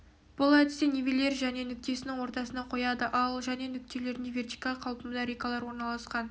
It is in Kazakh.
бұл әдісте нивелир және нүктесінің ортасына қояды ал және нүктелерінде вертикаль қалпында рейкалар орналасқан